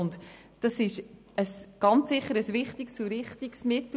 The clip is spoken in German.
Beschwerden und Einsprachen sind ganz sicher wichtige und richtige Mittel.